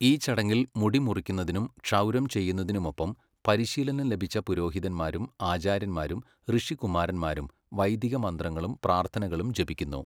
ഈ ചടങ്ങിൽ, മുടി മുറിക്കുന്നതിനും ക്ഷൗരം ചെയ്യുന്നതിനുമൊപ്പം, പരിശീലനം ലഭിച്ച പുരോഹിതന്മാരും ആചാര്യന്മാരും ഋഷികുമാരന്മാരും വൈദിക മന്ത്രങ്ങളും പ്രാർത്ഥനകളും ജപിക്കുന്നു.